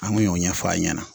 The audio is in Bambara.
An kun y'o ɲɛfɔ a ɲɛna